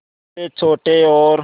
जैसे छोटे और